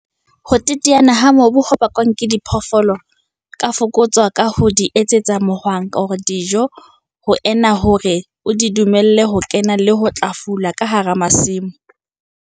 Ho teteana ha mobu ho bakwang ke diphoofoloho ka fokotswa ka ho di isetsa mohwang-dijo ho ena le hore o di dumelle ho kena le ho tla fula ka hara masimo.